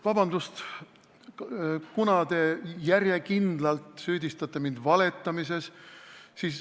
Vabandust, te järjekindlalt süüdistate mind valetamises.